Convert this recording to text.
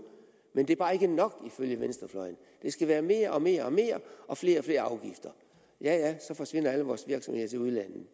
men det er bare ikke nok ifølge venstrefløjen det skal være mere og mere mere og flere og flere afgifter ja ja så forsvinder alle vores virksomheder til udlandet